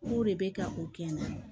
K'o de bɛ ka o kɛ n na